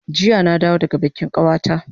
Jiya na dawo daga bikin kawata